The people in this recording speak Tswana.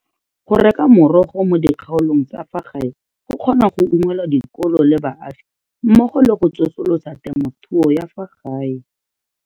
Go reka merogo mo dikgaolong tsa fa gae go kgona go unngwela dikolo le baagi mmogo le go tsosolosa temothuo ya fa gae.